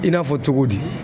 I n'a fɔ cogo di ?